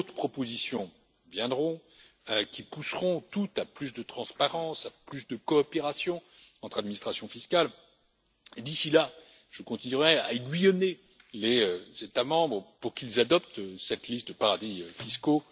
D'autres propositions viendront qui pousseront toutes à plus de transparence, plus de coopération entre administrations fiscales et, d'ici là, je continuerai à aiguillonner les États membres pour qu'ils adoptent cette liste de paradis fiscaux.